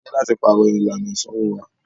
A ní láti pàrọ̀ ìlànà ìsanwó wa.